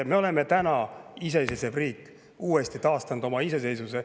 Me oleme täna iseseisev riik, oleme taastanud oma iseseisvuse.